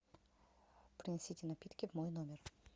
принесите напитки в мой номер